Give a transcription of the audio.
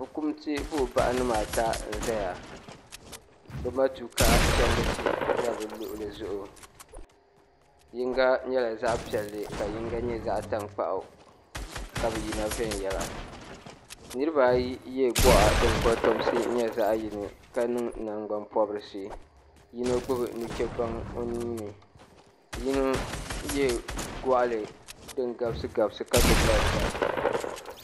Fukumsi buɣubahi nima ata n zaya bɛ matuuka chendisi za bɛ luɣuli zuɣu yinga nyɛla zaɣa piɛlli ka yinga nyɛ zaɣa tankpaɣu ka bi yina venyela niriba ayi ye gɔɣa din kotomsi nyɛ zaɣa yini ka niŋ nangban pobrisi yino gbibi nuchebaŋa o nuuni yino ye gɔɣali din gabsi gabsi ka gbibi marafa.